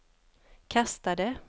kastade